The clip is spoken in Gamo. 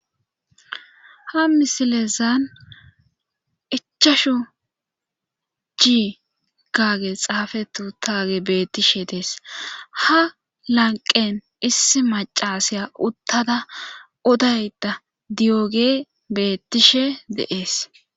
Ha misilezan ichashu jii gaage xaafetu taage bettishe dees ha lanqen issi macasaya uttada odayda diyoge bettishe dees.